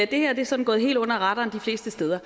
det her er sådan gået helt under radaren de fleste steder